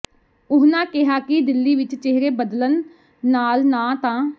ਉਹਨਾਂ ਕਿਹਾ ਕਿ ਦਿੱਲੀ ਵਿੱਚ ਚੇਹਰੇ ਬਦਲਣ ਨਾਲ ਨਾਂ ਤਾਂ